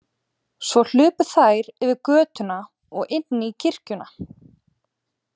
Svo hlupu þær yfir götuna og inn í kirkjuna.